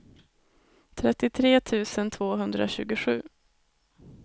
trettiotre tusen tvåhundratjugosju